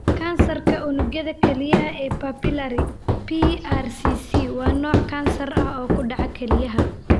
Kansarka unugyada kelyaha ee Papillary (PRCC) waa nooc kansar ah oo ku dhaca kelyaha.